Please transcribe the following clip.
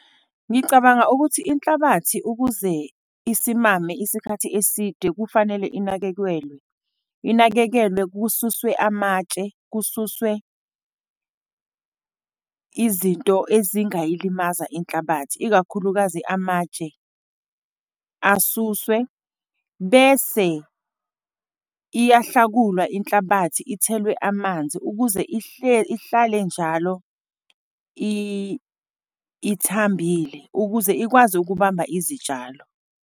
Ngicabanga ukuthi inhlabathi ukuze isimame isikhathi eside, kufanele inakekelwe. Inakekelwe, kususwe amatshe, kususwe izinto ezingayilimaza inhlabathi, ikakhulukazi amatshe asuswe. Bese iyahlakulwa inhlabathi, ithelwe amanzi, ukuze ihlale njalo ithambile ukuze ikwazi ukubamba izitshalo.